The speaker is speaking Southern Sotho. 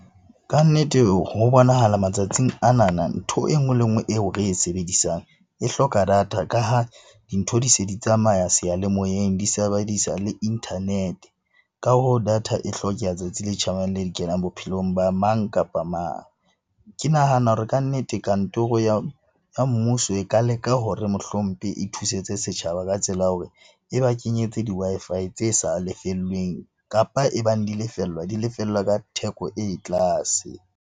Kannete ho bonahala matsatsing anana ntho e nngwe le e nngwe eo re e sebedisang e hloka data ka ha dintho di se di tsamaya seyalemoyeng. Di sebedisa le internet-e. Ka hoo, data e hlokeha tsatsi le tjhabang le dikelang bophelong ba mang kapa mang. Ke nahana hore kannete kantoro ya mmuso e ka leka hore mohlompe e thusetse setjhaba ka tsela ya hore e ba kenyetse di-Wi-Fi tse sa lefellweng kapa e bang di lefellwa di lefellwa ka theko e tlase.